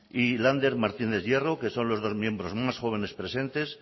y lander martínez hierro que son los dos miembros más jóvenes presentes